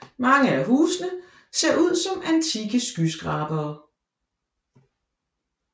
Mange af husene ser ud som antikke skyskrabere